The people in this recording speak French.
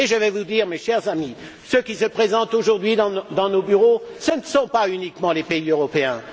Et je tiens à vous dire ceci, mes chers amis ceux qui se présentent aujourd'hui dans nos bureaux, ce ne sont pas uniquement les pays européens.